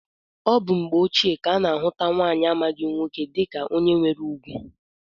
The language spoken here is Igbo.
Ọ bụ na mgbe ochie ka a na-ahụta nwaanyị amaghị nwoke dịka onye nwere ugwu